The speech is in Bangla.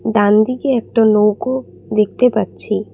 ডানদিকে একটা নৌকো দেখতে পাচ্ছি।